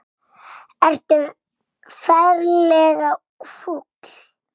Ertu ferlega fúll?